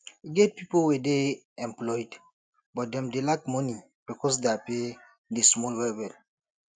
e get pipo wey dey employed but dem dey lack money because their pay dey small well welll